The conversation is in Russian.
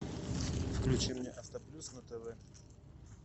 включи мне авто плюс на тв